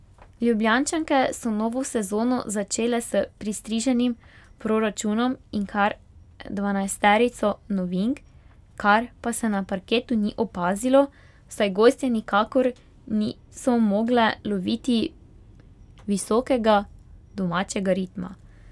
Ljubljančanke so novo sezono začele s pristriženim proračunom in kar dvanajsterico novink, kar pa se na parketu ni opazilo, saj gostje nikakor niso mogle loviti visokega domačega ritma.